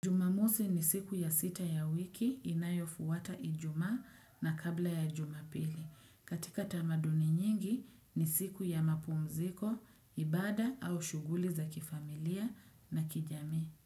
Jumamosi ni siku ya sita ya wiki inayo fuwata ijumaa na kabla ya jumapili. Katika tamaduni nyingi ni siku ya mapumziko, ibada au shuguli za kifamilia na kijami.